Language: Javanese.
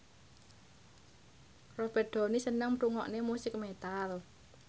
Robert Downey seneng ngrungokne musik metal